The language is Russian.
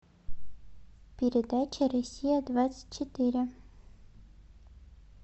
передача россия двадцать четыре